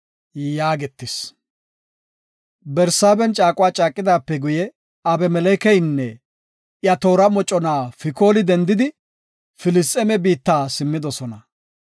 Barsaaben caaquwa caaqidaape guye, Abimelekeynne iya toora moconay Fikooli dendidi, Filisxeeme biitta simmidosona.